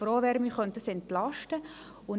Auch wenn es nur wenige Menschen sind.